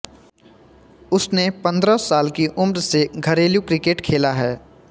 उसने पंद्रह साल की उम्र से घरेलू क्रिकेट खेला है